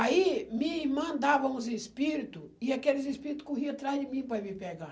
Aí minha irmã dava uns espírito e aqueles espírito corriam atrás de mim para ir me pegar.